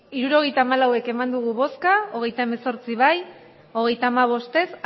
hirurogeita hamalau eman dugu bozka hogeita hemezortzi bai hogeita hamabost ez